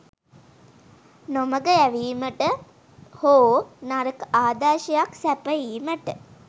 නොමඟ යැවීමට හෝ නරක ආදර්ශයක් සැපයීමට